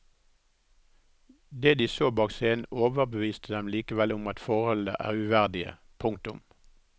Det de så bak scenen overbeviste dem likevel om at forholdene er uverdige. punktum